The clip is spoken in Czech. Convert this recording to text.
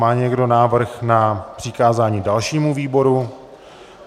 Má někdo návrh na přikázání dalšímu výboru?